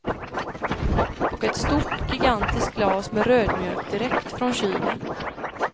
Och ett stort, gigantiskt glas med rödmjölk direkt från kylen.